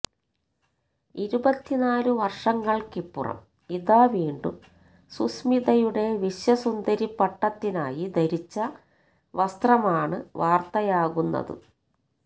ഇരുപത്തിനാലു വര്ഷങ്ങള്ക്കിപ്പുറം ഇതാ വീണ്ടും സുസ്മിതയുടെ വിശ്വസുന്ദരിപ്പട്ടത്തിനായി ധരിച്ച വസ്ത്രമാണ് വാര്ത്തയാകുന്നത്